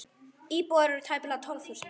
Íbúar eru tæplega tólf þúsund.